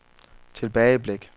tilbageblik